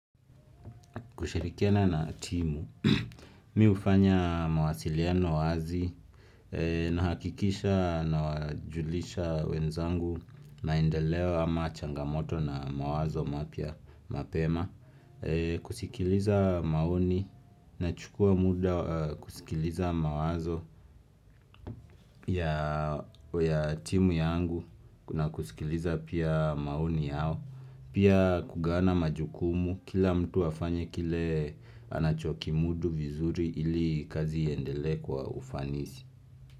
Kushirikiana na timu, mimi hufanya mawasiliano wazi na hakikisha na wajulisha wenzangu maendeleo ama changamoto na mawazo mapya mapema kusikiliza maoni na chukua muda kusikiliza mawazo ya timu yangu na kusikiliza pia maoni yao Pia kugawana majukumu kila mtu afanye kile anachokimudu vizuri ili kazi iendele kwa ufanisi.